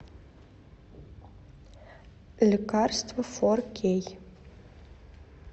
лекарство фор кей